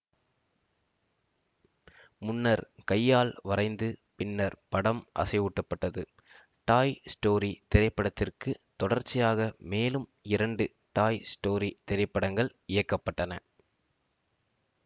முன்னர் கையால் வரைந்து பின்னர் படம் அசைவூட்டப்பட்டது டாய் ஸ்டோரி திரைப்படத்திற்கு தொடர்ச்சியாக மேலும் இரண்டு டாய் ஸ்டோரி திரைப்படங்கள் இயக்க பட்டன